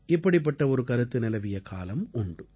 இப்படிப்பட்ட ஒரு கருத்து நிலவிய காலம் உண்டு